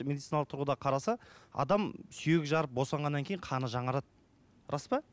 медициналық тұрғыда қараса адам сүйегі жарып босанғаннан кейін қаны жаңарады рас па